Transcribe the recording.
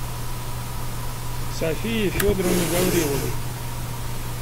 софии федоровне гавриловой